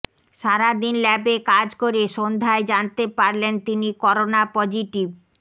সারাদিন ল্যাবে কাজ করে সন্ধ্যায় জানতে পারলেন তিনি করোনা পজিটিভ